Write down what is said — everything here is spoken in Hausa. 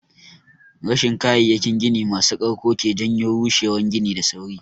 Rashin kayayyakin gini masu ƙarko ke janyo rushewan gini da sauri.